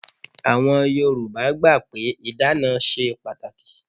Àwọn Yorùbá gbà pé ìdána ṣe pàtàkì.